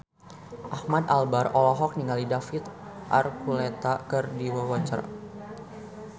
Ahmad Albar olohok ningali David Archuletta keur diwawancara